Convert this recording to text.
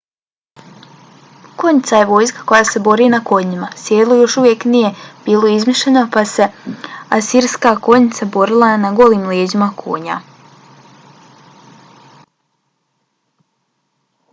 konjica je vojska koja se bori na konjima. sedlo još uvijek nije bilo izmišljeno pa se asirska konjica borila na golim leđima konja